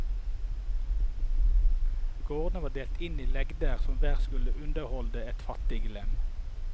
Gårdene var delt inn i legder som hver skulle underholde et fattiglem.